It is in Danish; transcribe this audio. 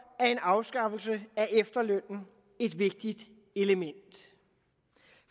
er en afskaffelse af efterlønnen et vigtigt element